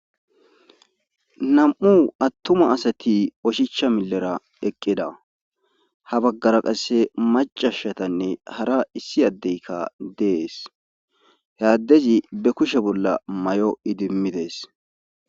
nam7u attuma asati oshicha milera eqqida ha baggara qasse macashatanne hara issi addeykka dees he addezi be kushe bolla may7o idimmidees